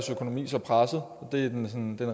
en